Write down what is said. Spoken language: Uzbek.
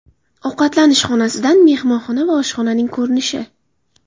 Ovqatlanish xonasidan mehmonxona va oshxonaning ko‘rinishi.